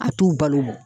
A t'u balo